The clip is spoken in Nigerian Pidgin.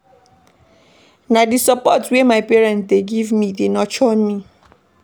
Na di support wey my parents dey give me dey nurture me.